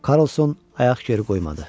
Karlson ayaq geri qoymadı.